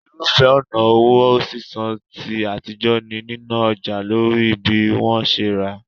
Irúfẹ́ ọ̀nà owó sísan ti àtijọ́ ni níná ọjà lórí bí wọ́n ṣe ra